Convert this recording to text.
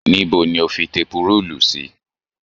Níbo ni o fi tepurúùlù sí?